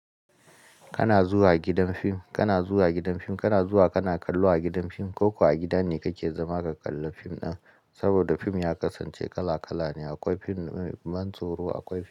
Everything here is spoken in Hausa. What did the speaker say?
Kana zuwa gidan fim, kana zuwa gidan fim, kana zuwa kana kallo a gidan fim ko ko a gida ne kake zama ka kalla fim ɗin. Saboda fim ya kasance kala kala ne. Akwai fim mantso ro, akwai.